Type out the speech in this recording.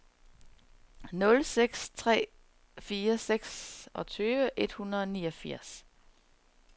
nul seks tre fire seksogtyve et hundrede og niogfirs